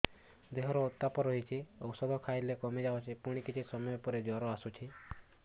ଦେହର ଉତ୍ତାପ ରହୁଛି ଔଷଧ ଖାଇଲେ କମିଯାଉଛି ପୁଣି କିଛି ସମୟ ପରେ ଜ୍ୱର ଆସୁଛି